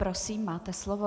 Prosím, máte slovo.